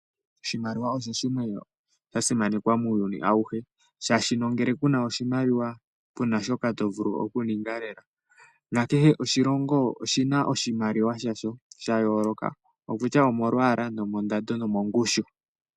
Oshimaliwa osho shimwe shoka sha simanekwa muuyuni awuhe shaashi uuna kuna sha oshimaliwa kunashoka to vulu okununga lela nangele oshilongo oshina oshimaliwa oshina oshimaliwa shasho okutya omolwala ,mondando osho mongushu.